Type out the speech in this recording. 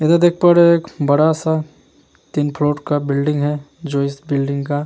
इधर देख पा रहे है एक बड़ा सा तीन फ्लोर का बिल्डिंग है जो इस बिल्डिंग का --